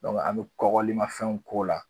an mi kɔkɔlimanfɛnw ko la